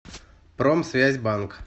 промсвязьбанк